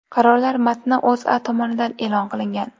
Qarorlar matni O‘zA tomonidan e’lon qilingan.